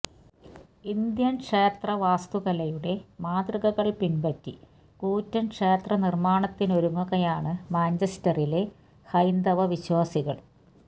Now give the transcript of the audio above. Indian ക്ഷേത്ര വാസ്തുകലയുടെ മാതൃകകള് പിന്പറ്റി കൂറ്റന് ക്ഷേത്ര നിര്മാണത്തിനൊരുങ്ങുകയാണ് മാഞ്ചസ്റ്ററിലെ ഹൈന്ദവ വിശ്വാസികള്